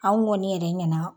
An kɔni yɛrɛ ɲɛna